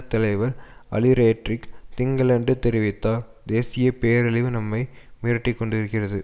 தலைவர் அலிரேட்ரிக் திங்களன்று தெரிவித்தார் தேசிய பேரழிவு நம்மை மிரட்டிக்கொண்டிருக்கிறது